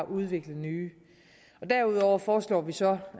udvikle nye derudover foreslår vi så